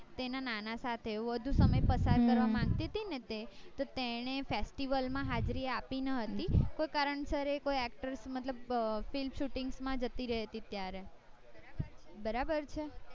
તેના નાના સાથે એ બધું તમે પસંદ કરવા માંગતી હતી ને તે તો તેને festival માં હાજરી આપી નાં હતી કોઈ કારણ સર એ કોઈ actor મતલબ film shootings માં જતી રહેતી હતી ત્યારે બરાબર છે